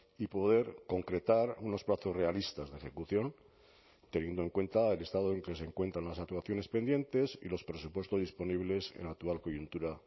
y poder concretar unos plazos realistas de ejecución teniendo en cuenta el estado en que se encuentran las actuaciones pendientes y los presupuestos disponibles en la actual coyuntura